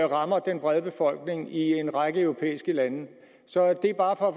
rammer den brede befolkning i en række europæiske lande det er bare for at